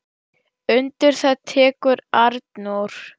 Undir það tekur Arnór.